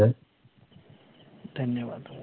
धन्यवाद.